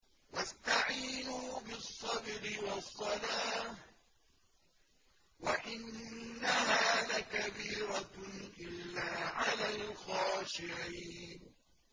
وَاسْتَعِينُوا بِالصَّبْرِ وَالصَّلَاةِ ۚ وَإِنَّهَا لَكَبِيرَةٌ إِلَّا عَلَى الْخَاشِعِينَ